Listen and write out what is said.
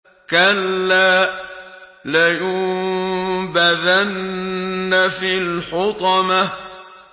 كَلَّا ۖ لَيُنبَذَنَّ فِي الْحُطَمَةِ